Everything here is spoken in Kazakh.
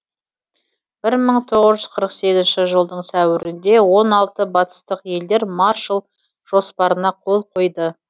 бір мың тоғыз жүз қырық сегізінші жылдың сәуірінде он алты батыстық елдер маршалл жоспарына қол қойды